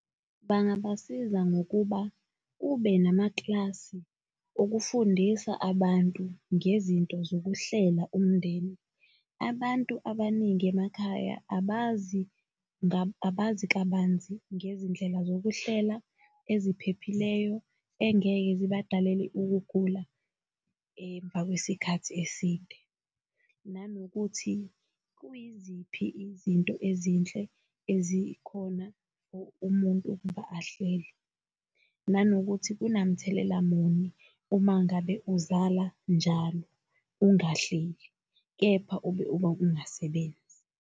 Bangabasiza ngokuba kube namakilasi okufundisa abantu ngezinto zokuhlela umndeni. Abantu abaningi emakhaya abazi kabanzi ngezindlela zokuhlela eziphephileyo engeke zibadalele ukugula emva kwesikhathi eside. Nanokuthi kuyiziphi izinto ezinhle ezikhona for umuntu ukuba akahlele. Nanokuthi kunamthelela muni uma ngabe uzala njalo ungahleli, kepha ube uba ungasebenzi.